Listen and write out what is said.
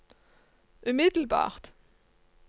umiddelbart